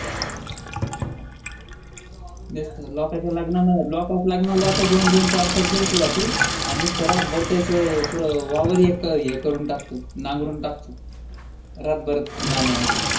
त्याच्या पेक्षा त्याच वागून द्या लोकायच्या लग्नाला जातो दोन दोन चार चार दिवसा साठी आणि नुसता रात भर त्याचं पूर वावर हे करून टाकतो नांगरून टाकतो रातभर गाणे आयक्त